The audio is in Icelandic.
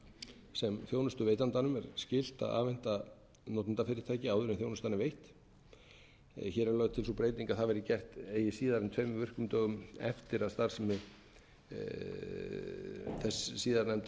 gagna sem þjónustuveitandanum er skylt að afhenda notendafyrirtæki áður en þjónustan er veitt hér er lögð til sú breyting að það verði gert eigi síðar en tveim virkum dögum eftir að starfsemi þess síðar nefnda